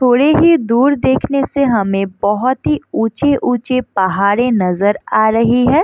थोड़े ही दूर देखने से हमे बहोत ही ऊचे-ऊचे पहाड़े नज़र आ रही है।